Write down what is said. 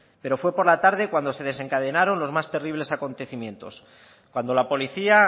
pero fue por la tarde cuando se desencadenaron los más terribles acontecimientos cuando la policía